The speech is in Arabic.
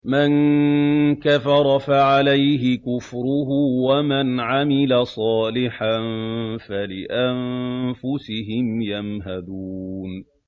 مَن كَفَرَ فَعَلَيْهِ كُفْرُهُ ۖ وَمَنْ عَمِلَ صَالِحًا فَلِأَنفُسِهِمْ يَمْهَدُونَ